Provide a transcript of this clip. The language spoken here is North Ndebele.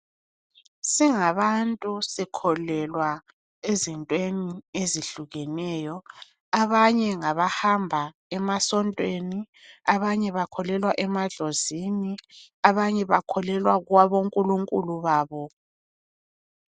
Singabantu sikholelwa ezintweni ezihlukeneyo. Abanye ngabahamba emasontweni, abanye bakholelwa emadlozini, abanye bakholelwa kwabonkulunkulu babo.